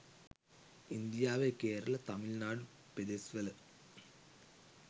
ඉන්දියාවේ කේරළ තමිල්නාඩු පෙදෙස්වල